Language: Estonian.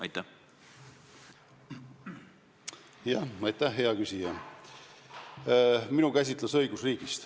Aitäh, hea küsija!